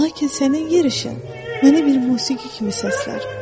Lakin sənin yer işin məni bir musiqi kimi səslər.